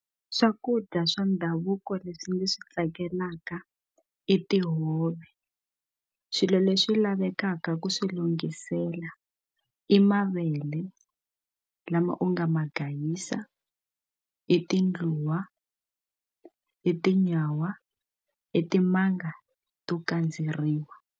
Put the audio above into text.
Swakudya swa ndhavuko leswi ndzi swi tsakelaka i tihove swilo leswi lavekaka ku swi lunghisela i mavele le lama u nga ma gayisa i tindluwa i tinyawa i timanga to kandzeriwa.